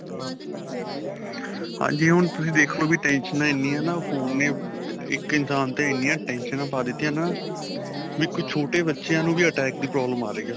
ਹਾਂਜੀ ਹੁਣ ਤੁਸੀਂ ਦੇਖੋ ਟੈਸ਼ਨਾਂ ਐਣੀਆਂ ਏ ਵੀ ਫੋਨ ਤੇ ਇੱਕ ਇਨਸ਼ਾਨ ਤੇ ਇੰਨੀਆਂ ਟੈਸ਼ਨਾਂ ਪਾ ਦਿੱਤੀਆਂ ਹੈ ਨਾ ਵੀ ਕੁੱਛ ਛੋਟੇ ਬੱਚਿਆ ਨੂੰ ਵੀ attack ਦੀ problem ਆ ਰਹੀ ਆ